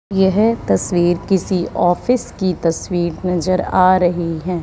यह तस्वीर किसी ऑफिस की तस्वीर नजर आ रही है।